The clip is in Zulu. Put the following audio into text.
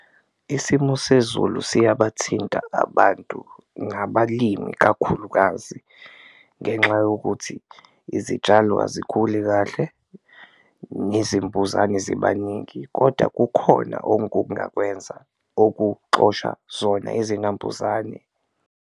Isimo sezulu siyabathinta abantu ngabalimi kakhulukazi ngenxa yokuthi izitshalo azikhuli kahle nezimbuzane ziba ningi, koda kukhona ongakwenza okuxosha zona izinambuzane.